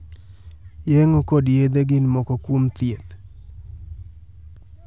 Yeng'o kod yedhe gin moko kuom thieth.